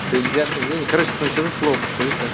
предвзятое мнение короче пацаны что за слово подскажите